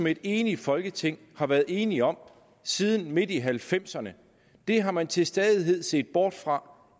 et enigt folketing har været enig om siden midt i nitten halvfemserne har man til stadighed set bort fra